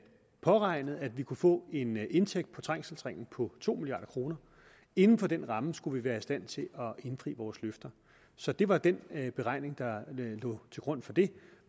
påregnet at vi kunne få en indtægt på trængselsringen på to milliard kroner inden for den ramme skulle vi være i stand til at indfri vores løfter så det var den beregning der lå til grund for det